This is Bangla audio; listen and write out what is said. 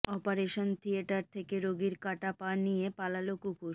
অপারেশন থিয়েটার থেকে রোগীর কাটা পা নিয়ে পালাল কুকুর